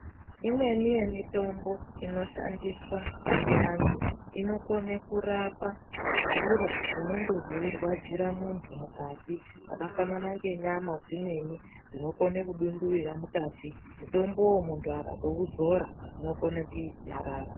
Imweni yemitombo inoshandiswa ngeantu inokone kurapa zviro zvinonge zveirwadzira muntu mukati zvakafanana nenyama dzimweni dzinokone kudunduwira mukati . Mutombowu muntu akauzora zvinokone kunyarara.